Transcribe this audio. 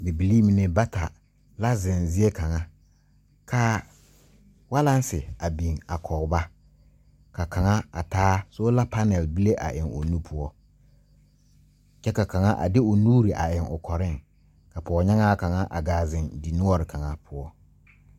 Bibilii mine bata la zeŋ zie kaŋa kaa walanse a biŋ a kɔg ba ka kaŋa a taa soola panɛl bonbile a eŋ o nu poɔ kyɛ ka kaŋa a de o nuure a eŋ o kɔreŋ poonyaŋaa kaŋa a zeŋ dinoɔre kaŋa.